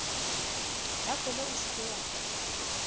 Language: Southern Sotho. tafole o se ke wa